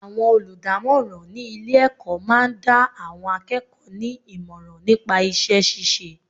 Àwọn olùdámọ́ràn ní ilé ẹ̀kọ́ máa ń dá àwọn akẹ́kọ̀ọ́ ní ìmọ̀ràn nípa iṣẹ́ ṣíṣe.